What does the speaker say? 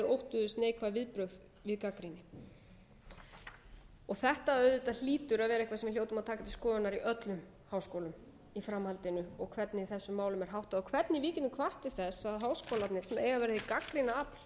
óttuðust neikvæð viðbrögð við gagnrýni þetta hlýtur að vera eitthvað sem við hljótum að taka til skoðunar í öllum háskólum í framhaldinu og hvernig þessum málum er háttað og hvernig við getum hvatt til þess að háskólarnir sem eiga að vera hið gagnrýna